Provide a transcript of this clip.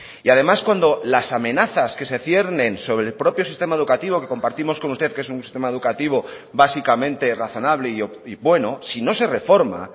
y además cuando las amenazas que se ciernen sobre el propio sistema educativo que compartimos con usted que es un sistema educativo básicamente razonable y bueno si no se reforma